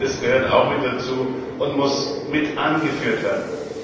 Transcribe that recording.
Ich denke, das gehört auch mit dazu und muss mit angeführt werden.